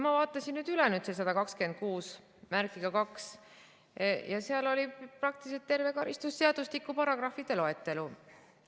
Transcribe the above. Ma vaatasin nüüd üle selle § 1262 ja seal oli praktiliselt terve karistusseadustiku paragrahvide loetelu.